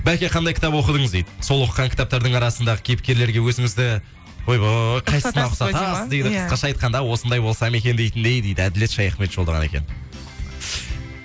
бәке қандай кітап оқыдыңыз дейді сол оқыған кітаптардың арасындағы кейіпкерлерге өзіңізді ойбой қайсысына ұқсатасыз дейді қысқаша айтқанда осындай болсам екен дейтіндей дейді әділет шаяхмет жолдаған екен